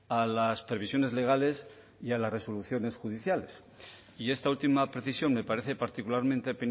a las previsiones legales y a las resoluciones judiciales y esta última precisión me parece particularmente